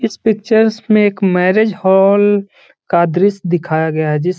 इस पिक्चर्स में एक मैरिज हॉल का दृश्य दिखाया गया है जिस --